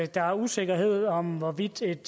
der er usikkerhed om hvorvidt et